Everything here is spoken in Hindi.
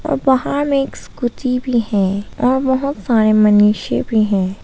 और वहाँ में एक स्कूटी भी है और बहोत सारे मनुष्य भी है।